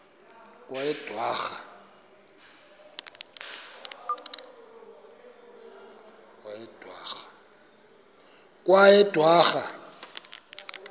kweyedwarha